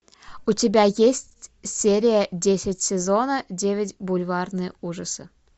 у тебя есть серия десять сезона девять бульварные ужасы